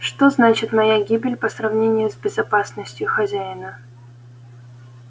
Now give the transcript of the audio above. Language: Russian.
что значит моя гибель по сравнению с безопасностью хозяина